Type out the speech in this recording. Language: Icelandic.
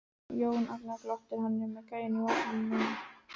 Jón Agnar glottir, hann er með gæjann í vasanum núna.